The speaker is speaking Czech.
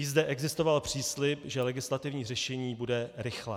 I zde existoval příslib, že legislativní řešení bude rychlé.